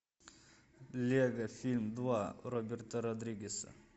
лего фильм два роберта родригеса